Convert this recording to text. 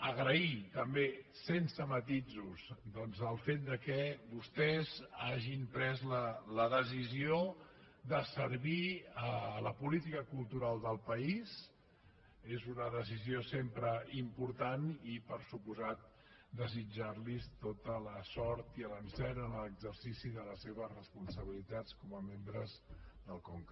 agrair també sense matisos el fet que vostès hagin pres la decisió de servir la política cultural del país és una decisió sempre important i per descomptat de·sitjar·los tota la sort i l’encert en l’exercici de les seves responsabilitats com a membres del conca